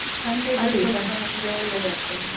ಸ್ವಲ್ಪ ನಮ್ಗೆ ಒಳ್ಳೇದಾಗ್ತದೆ.